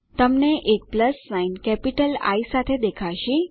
તમને એક plus sign capital I સાથે દેખાશે